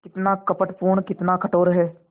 कितना कपटपूर्ण कितना कठोर है